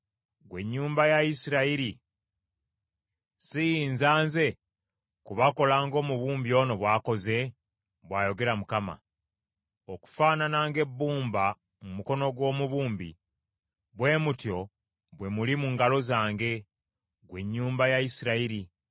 “Gwe ennyumba ya Isirayiri, siyinza nze kubakola ng’omubumbi ono bw’akoze?” bw’ayogera Mukama . “Okufaanana ng’ebbumba mu mukono gw’omubumbi, bwe mutyo bwe muli mu ngalo zange, ggwe ennyumba ya Isirayiri.